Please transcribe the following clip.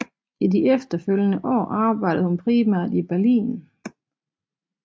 I de efterfølgende år arbejdede hun primært i Berlin